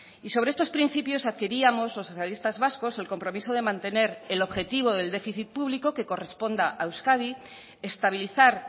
y sobre estos principios adquiríamos los socialistas vascos el compromiso de mantener el objetivo del déficit público que corresponda a euskadi estabilizar